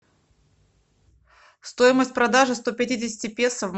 стоимость продажи сто пятидесяти песо